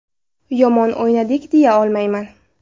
Yomon o‘ynadik deya olmayman.